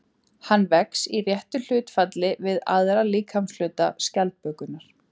Hann vex í réttu hlutfalli við aðra líkamshluta skjaldbökunnar.